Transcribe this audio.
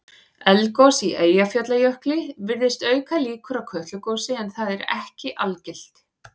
Eldgos í Eyjafjallajökli virðist auka líkur á Kötlugosi en það er ekki algilt.